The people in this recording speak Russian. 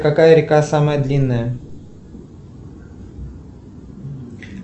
какая река самая длинная